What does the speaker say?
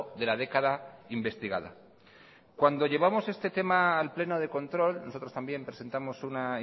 de la década investigada cuando llevamos este tema al pleno de control nosotros también presentamos una